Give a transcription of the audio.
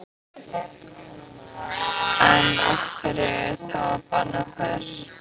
En af hverju þá að banna þær?